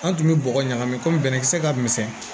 An tun bɛ bɔgɔ ɲagami kɔmi bɛnɛn kisɛ ka misɛn